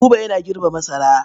Buba yana girbe masara.